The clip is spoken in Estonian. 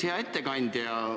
Hea ettekandja!